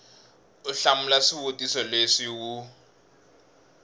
u hlamula swivutiso leswi wu